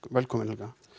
velkomin Helga